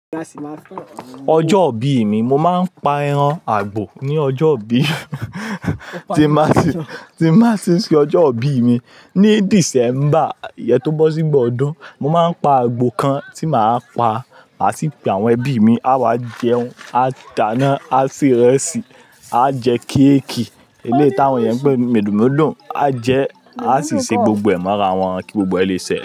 Ọjọ́ ìbí mi, mo máa ń pa ẹran àgbò ní ọjọ́ ìbí tí n ba ti n ṣe ọjọ́ ìbí mi. Ni December, iyẹn tó bọ́ sígbo ọdún, mo máa pa àgbò kan tí màá pa, màá sì pe àwọn ẹbí mi, a wá jẹun, adáná, a se ìrẹsì, a jẹ kéékì. Eleyi táwọn eyẹn pẹ̀ ni médundédùn, a jẹ, a sì ṣe gbogbo ẹ̀ mára wọn kí gbogbo ẹ̀ lè sẹ́